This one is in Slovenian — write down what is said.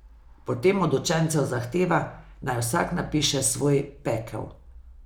Potem od učencev zahteva, naj vsak napiše svoj Pekel.